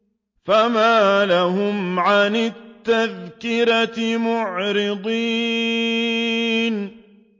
فَمَا لَهُمْ عَنِ التَّذْكِرَةِ مُعْرِضِينَ